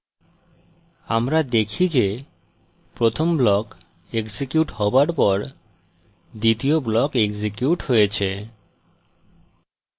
আমরা দেখি যে প্রথম block এক্সিকিউট হওয়ার পর দ্বিতীয় block এক্সিকিউট হয়েছে